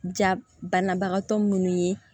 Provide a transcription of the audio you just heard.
Ja banabagatɔ minnu ye